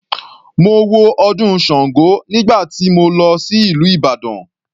Mo wo ọdún sango nígbà tí mo lọ sí ìlú Ìbàdàn.